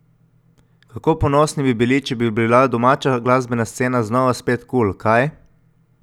Kako ponosni bi bili, če bi bila domača glasbena scena znova spet kul, kaj?